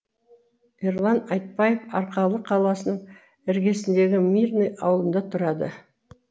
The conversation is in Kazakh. ерлан айтбаев арқалық қаласының іргесіндегі мирный ауылында тұрады